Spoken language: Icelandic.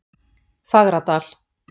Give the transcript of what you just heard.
Fagradal